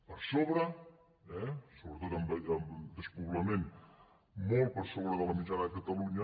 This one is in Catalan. per sobre eh sobretot despoblament molt per sobre de la mitjana de catalunya